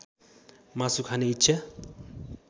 मासु खाने इच्छा